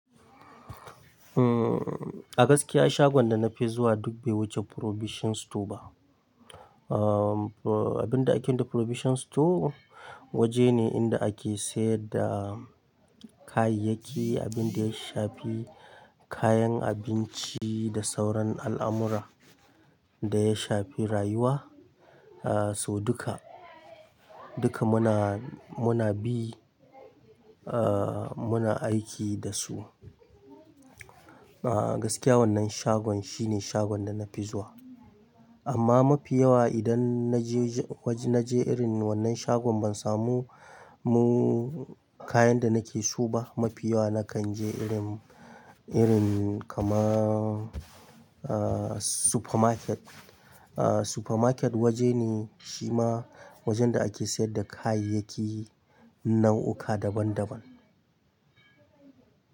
A gaskiya shagon da na fi zuwa duk bai wuce Provision store ba. Abin da ake nufi da Provision store waje ne inda ake sayar da kayayyaki, abin da ya shafi kayan abinci da sauran al'amura da ya shafi rayuwa. So duka, duka muna, muna bi muna aiki da su. A gaskiya wannan shagon shine shagon da na fi zuwa. Amma mafi yawa idan na je waje, na je irin wannan shagon ban samu mu kayan da nake so ba. Mafi yawa na kan je irin, irin kaman supermarket. Supermarket waje ne shi ma wajen da ake sayar da kayayyaki nau'uka daban daban.